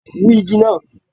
Wú igi náà!